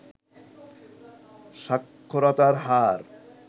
সাক্ষরতার হার